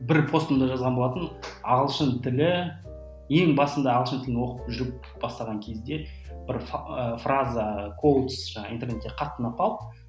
бір постымда жазған болатынмын ағылшын тілі ең басында ағылшын тілін оқып жүріп бастаған кезде бір ы фраза интернетте қатты ұнап қалды